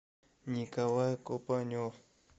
николай копанев